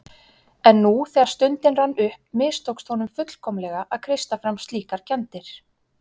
En nú þegar stundin rann upp mistókst honum fullkomlega að kreista fram slíkar kenndir.